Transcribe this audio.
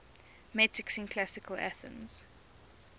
metics in classical athens